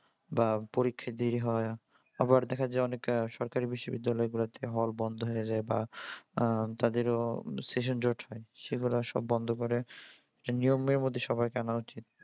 বা পরীক্ষা delay হয়। আবার দেখা যায় অনেক সরকারি বিশ্ববিদ্যালয়গুলাতে হল বন্ধ হইয়া যায় বা উম তাদেরও session জট হয়। সেগুলা সব বন্ধ করে নিয়মের মধ্যে সবাইকে আনা উচিত।